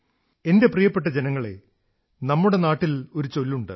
എന്റെ പ്രിയപ്പെട്ട ജനങ്ങളേ നമ്മുടെ നാട്ടിലൊരു പറച്ചിലുണ്ട്